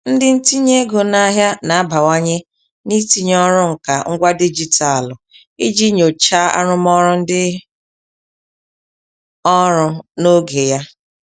Ndị ntinye ego n'ahịa na-abawanye n'itinye ọrụ nka ngwa dijitalụ iji nyochaa arụmọrụ ndị ọrụ n'oge ya.